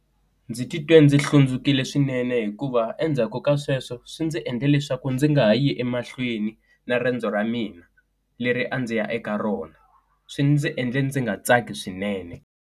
Ndzi titwe ndzi hlundzukile swinene hikuva endzhaku ka sweswo swi ndzi endla leswaku ndzi nga ha yi emahlweni na riendzo ra mina, leri a ndzi ya eka rona swi ndzi endla ndzi nga tsaki swinene.